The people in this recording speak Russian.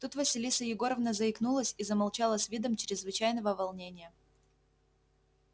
тут василиса егоровна заикнулась и замолчала с видом чрезвычайного волнения